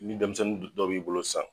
Ni denmisɛnnin dɔw b'i bolo san.